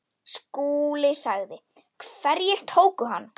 SKÚLI: Hverjir tóku hann?